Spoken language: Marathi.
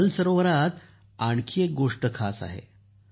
पण दल सरोवरात आणखी एक गोष्ट खास आहे